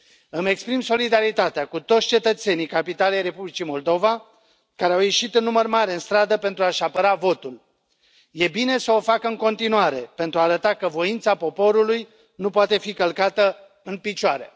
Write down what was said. Îmi exprim solidaritatea cu toți cetățenii capitalei Republicii Moldova, care au ieșit în număr mare în stradă pentru a și apăra votul. E bine să o facă în continuare, pentru a arăta că voința poporului nu poate fi călcată în picioare.